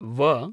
व